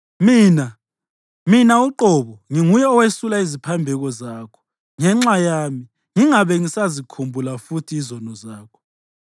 Mina, mina uqobo, nginguye owesula iziphambeko zakho ngenxa yami, ngingabe ngisazikhumbula futhi izono zakho.